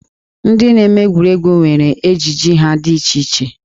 Ndị na-eme egwuregwu nwere ejiji ha dị iche iche.